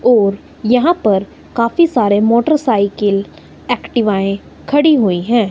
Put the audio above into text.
और यहां पर काफी सारे मोटरसाइकिल एक्टिवाए खड़ी हुई है।